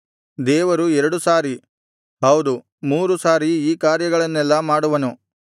ದೇವರು ಎರಡು ಸಾರಿ ಹೌದು ಮೂರು ಸಾರಿ ಈ ಕಾರ್ಯಗಳನ್ನೆಲ್ಲಾ ಮಾಡುವನು